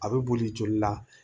A bɛ boli joli la